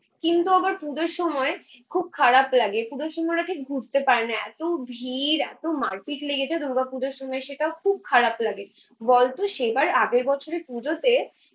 কিন্তু আবার পুজোর সময় খুব খারাপ লাগে, পুজোর সময় ওরা ঠিক ঘুরতে পারেনা এতো ভিড় এতো মারপিট লেগে যায় দুর্গাপুজোর সময়, সেটাও খুব খারাপ লাগে। বলতো সেবার আগের বছরের পুজোতে